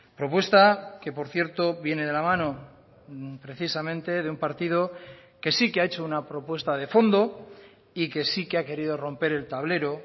propuesta que por cierto viene de la mano precisamente de un partido que sí que ha hecho una propuesta de fondo y que sí que ha querido romper el tablero